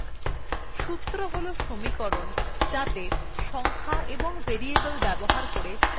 সূত্র হল সমীকরণ যাত়ে সংখ্যা এবং ভেরিয়েবল ব্যবহার করে ফলাফল নির্ণয় করা হয়